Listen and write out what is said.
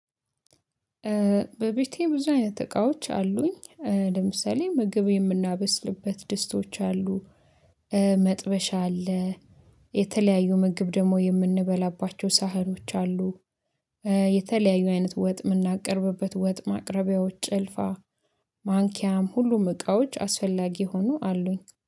በቤቴ ብዙ አይነት እቃዎች አሉኝ ለምሳሌ ምግብ የምናበስልበት ደስቶች አሉ። መጥበሻ አለ። የተለያዩ ምግብ ደግሞ የምንበላባቸው ሳህኖች አሉ። የተለያዩ አይነት ወጥ የምናቀርብበት ወጥ ማቅረቢያዎች ጭልፋ ማንኪያም ሁሉም እቃዎች አስፈላጊ ሆኖ አሉኝ